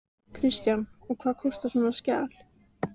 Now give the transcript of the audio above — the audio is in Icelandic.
Kristján: Og hvað kostar svona skjal?